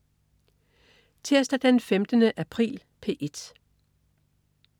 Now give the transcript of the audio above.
Tirsdag den 15. april - P1: